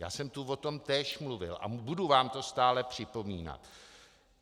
Já jsem tu o tom též mluvil a budu vám to stále připomínat.